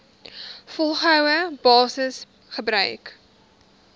volgehoue basis gebruik